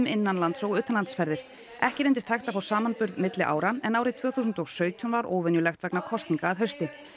innanlands og utanlandsferðir ekki reyndist hægt að fá samanburð milli ára en árið tvö þúsund og sautján var óvenjulegt vegna kosninga að hausti